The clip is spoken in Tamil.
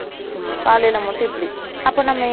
ம் காலைல மட்டும் இப்டி அப்ப நம்ம